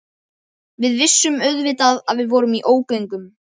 Við vissum auðvitað að við vorum í ógöngum.